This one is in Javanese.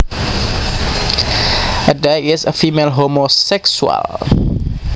A dyke is a female homosexual